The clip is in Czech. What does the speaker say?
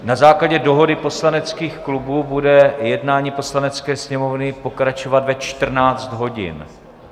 Na základě dohody poslaneckých klubů bude jednání Poslanecké sněmovny pokračovat ve 14 hodin.